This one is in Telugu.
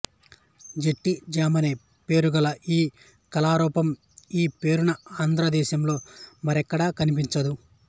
జట్టి జామనే పేరుగల ఈ కళారూపం ఈ పేరున ఆంధ్ర దేశంలో మరెక్కడా కనిపించదు